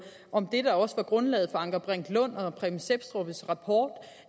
om det der også var grundlaget for anker brink lund og preben sepstrups rapport